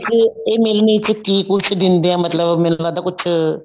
ਚ ਇਹ ਮਿਲਣੀ ਚ ਕੀ ਕੁੱਝ ਦਿੰਦੇ ਐ ਮਤਲਬ ਮੈਨੂੰ ਲੱਗਦਾ ਕੁੱਝ